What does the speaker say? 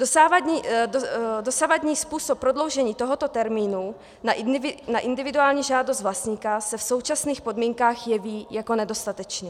Dosavadní způsob prodloužení tohoto termínu na individuální žádost vlastníka se v současných podmínkách jeví jako nedostatečný.